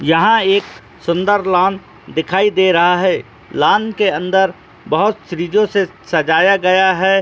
यहां एक सुन्‍दर लान दिखाई दे रहा है लान के अंदर बहुत श्रीजो से सजाया गया हैं।